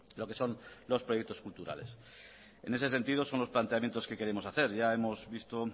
lo que son los proyectos culturales en ese sentido son los planteamientos que queremos hacer ya hemos visto